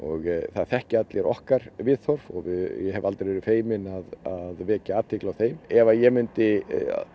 það þekkja allir okkar viðhorf og ég hef aldrei verið feiminn að vekja athygli á þeim ef ég mundi